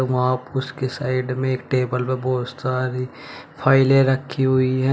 वहां उसके साइड में एक टेबल प बहोत सारी फाइलें रखी हुई है।